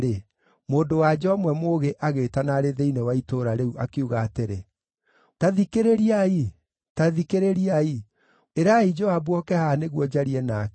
mũndũ-wa-nja ũmwe mũũgĩ agĩĩtana arĩ thĩinĩ wa itũũra rĩu, akiuga atĩrĩ, “Ta thikĩrĩriai! Ta thikĩrĩriai! Ĩrai Joabu oke haha nĩguo njarie nake.”